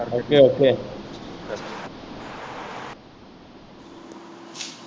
OKOK